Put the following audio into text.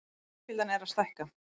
Fjölskyldan er að stækka.